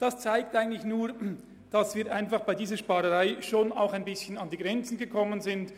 Das zeigt eigentlich nur, dass wir bei dieser Sparrunde an Grenzen gestossen sind.